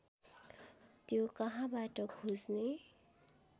त्यो कहाँबाट खोज्ने